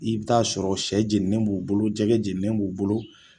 I bɛ ta'a sɔrɔ sɛ jeninen b'u bolo jɛgɛ jeninen b'u bolo